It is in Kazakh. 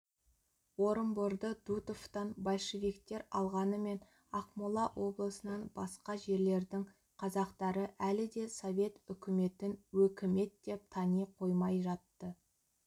орынборды дутовтан большевиктер алғанымен ақмола облысынан басқа жерлердің қазақтары әлі де совет үкіметін өкімет деп тани қоймай жатты